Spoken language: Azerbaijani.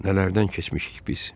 Nələrdən keçmişik biz?